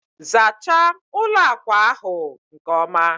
zachaa ụlọ akwa ahụ nke ọma!